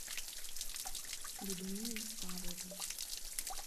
людмилой павловой